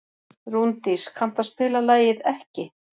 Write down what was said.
Rúndís, kanntu að spila lagið „Ekki“?